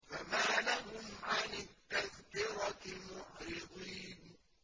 فَمَا لَهُمْ عَنِ التَّذْكِرَةِ مُعْرِضِينَ